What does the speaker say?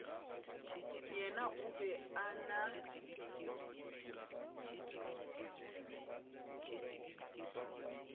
yena o be a na